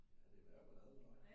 Ja det er en værre ballade med dig